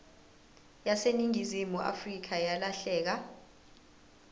yaseningizimu afrika yalahleka